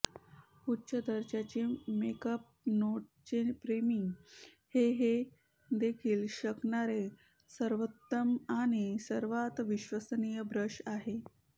उच्च दर्जाची मेकअप नोटचे प्रेमी हे हे देऊ शकणारे सर्वोत्तम आणि सर्वात विश्वसनीय ब्रश आहे